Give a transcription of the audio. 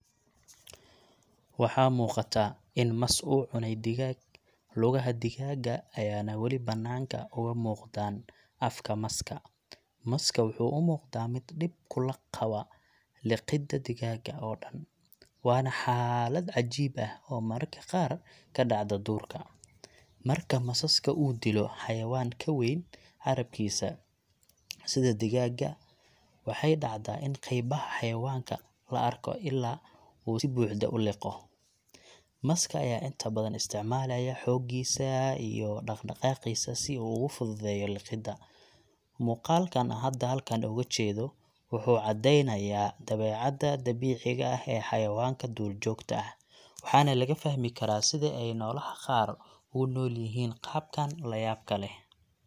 Waxaa muuqata in mas uu cunay digaag, lugaha digaagga ayaana wali banaanka uga muuqdaan afka maska. Maska wuxuu u muuqdaa mid dhib kula qaba liqidda digaagga oo dhan, waana xaalad cajiib ah oo mararka qaar ka dhacda duurka. Marka masaska uu dilo xayawaan ka weyn carrabkiisa, sida digaagga, waxay dhacdaa in qaybaha xayawaanka la arko ilaa uu si buuxda u liqo. Maska ayaa inta badan isticmaalaya xooggiisa iyo dhaqdhaqaaqiisa si uu ugu fududeeyo liqidda. Muuqaalkan hada halkan ooga jeedo wuxuu caddeynayaa dabeecadda dabiiciga ah ee xayawaanka duurjoogta ah, waxaana laga fahmi karaa sida ay noolaha qaar u noolyihiin qaabkan la yaabka leh.